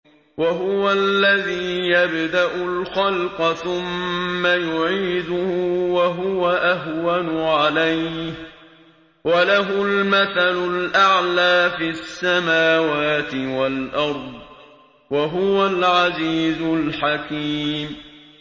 وَهُوَ الَّذِي يَبْدَأُ الْخَلْقَ ثُمَّ يُعِيدُهُ وَهُوَ أَهْوَنُ عَلَيْهِ ۚ وَلَهُ الْمَثَلُ الْأَعْلَىٰ فِي السَّمَاوَاتِ وَالْأَرْضِ ۚ وَهُوَ الْعَزِيزُ الْحَكِيمُ